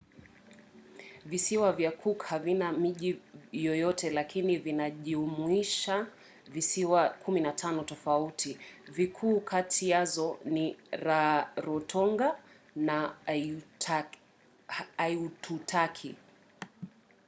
visiwa vya cook havina miji yoyoyte lakini vinajumuisha visiwa 15 tofauti. vikuu kati yazo ni rarotonga na aitutaki